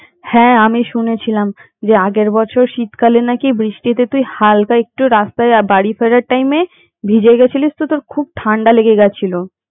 হ্যাঁ আমি শুনেছিলাম আগের বছর বৃষ্টিতে নাকি তুই হালকা একটু রাস্তায় বাড়ি ফেরার টাইমে ভিজে গেছিলিস তা তোর খুব ঠান্ডা লেগে গিয়েছিলো।